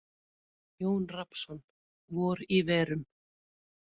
Jón Rafnsson: Vor í verum.